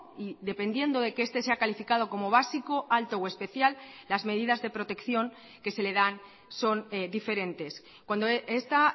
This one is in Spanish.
y dependiendo de que este sea calificado como básico alto o especial las medidas de protección que se le dan son diferentes cuando esta